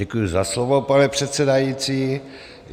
Děkuji za slovo, pane předsedající.